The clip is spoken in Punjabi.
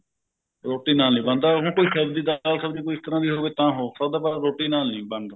ਰੋਟੀ ਨਾਲ ਨਹੀਂ ਬਣਦਾ ਹੁਣ ਕੋਈ ਚੱਜ ਦੀ ਦਾਲ ਸਬਜੀ ਕੋਈ ਇਸ ਤਰ੍ਹਾਂ ਦੀ ਹੋਵੇ ਤਾਂ ਹੋ ਸਕਦਾ ਰੋਟੀ ਨਾਲ ਨਹੀਂ ਬਣਦਾ